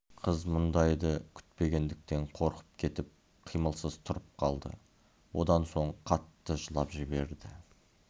қыз мұндайды күтпегендіктен қорқып кетіп қимылсыз тұрып қалды одан соң қатты жылап жіберді